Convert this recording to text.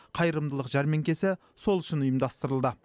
қайырымдылық жәрмеңкесі сол үшін ұйымдастырылды